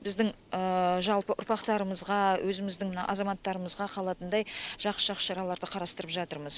біздің жалпы ұрпақтарымызға өзіміздің мына азаматтарымызға қалатындай жақсы жақсы шараларды қарастырып жатырмыз